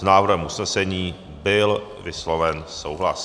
S návrhem usnesení byl vysloven souhlas.